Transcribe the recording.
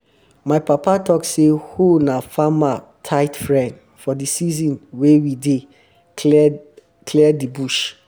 my papa talk say hoe na farmer um tight friend for di season wen we dey clear dey clear bush